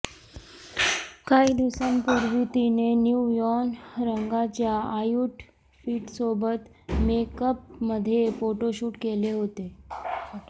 काही दिवसांपूर्वी तिने न्यूयॉन रंगाच्या आऊटफिटसोबत मेकअपमध्ये फोटोशूट केले होते